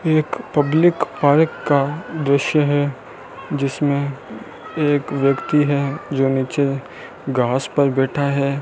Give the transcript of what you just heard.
एक public park का दृश्य है जिसमें एक व्यक्ति है जो नीचे घास पर बैठा है।